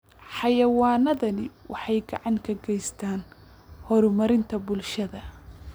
Xayawaanadani waxay gacan ka geystaan ??horumarinta bulshada.